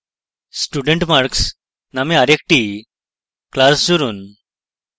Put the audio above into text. studentmarks named আরেকটি class জুড়ুন